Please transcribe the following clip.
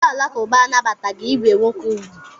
Ndị Alakụba anabataghị ibe nwoke ugwu.